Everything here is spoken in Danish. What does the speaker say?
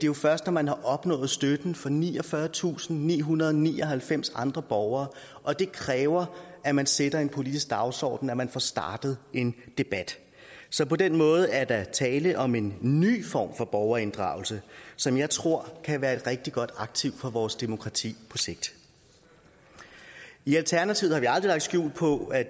jo først når man har opnået støtten fra niogfyrretusinde og nihundrede og nioghalvfems andre borgere og det kræver at man sætter en politisk dagsorden at man får startet en debat så på den måde er der tale om en ny form for borgerinddragelse som jeg tror kan være et rigtig godt aktiv for vores demokrati på sigt i alternativet har vi aldrig lagt skjul på at